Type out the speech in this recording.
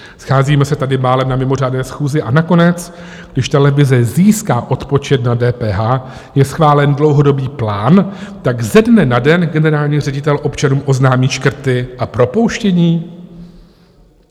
Scházíme se tady málem na mimořádné schůzi, a nakonec, když televize získala odpočet na DPH, je schválen dlouhodobý plán, tak ze dne na den generální ředitel občanům oznámí škrty a propouštění?